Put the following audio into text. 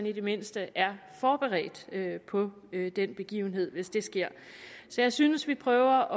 i det mindste er forberedt på den begivenhed hvis det sker så jeg synes vi prøver